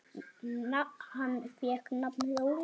Hann fékk nafnið Óli.